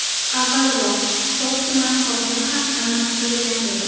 Avvalroq So‘x tumani hokimi ham almashtirilgan edi .